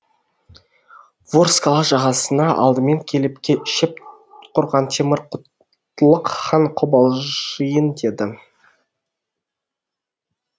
ворскала жағасына алдымен келіп шеп құрған темір құтлық хан қобалжиын деді